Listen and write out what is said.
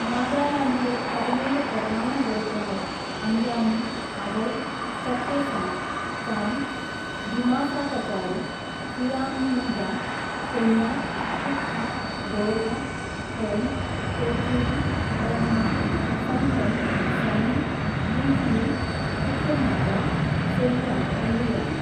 നാഗാലാൻഡിലെ പതിനേഴ്‌ പ്രധാന ഗോത്രങ്ങൾ അംഗാമി, അവോ, ചഖേസാങ്, ചാങ്, ദിമാസ കചാരി, ഖിയാമ്നിയുംഗാൻ, കൊന്യാക്, കുക്കി, ലോഥ, ഫോം, പോച്ചൂരി, റെങ്മ, സംഗ്തം, സമി, യിംഖിയുങ്, തിഖിർ നാഗ, സെലിയാങ് എന്നിവയാണ്.